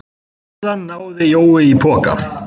Síðan náði Jói í poka.